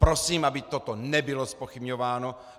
Prosím, aby toto nebylo zpochybňováno!